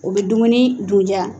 U bɛ dumuni dundiya